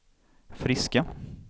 friska